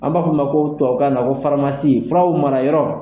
An b'a fɔ o ma tubabukan na ko faramasi, furaw mara yɔrɔ.